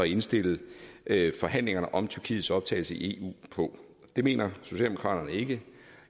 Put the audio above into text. indstille forhandlingerne om tyrkiets optagelse i eu på det mener socialdemokraterne ikke